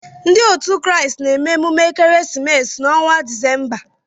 Ndị otu Kraịst na-eme emume ekeresimesi n'ọnwa Disemba.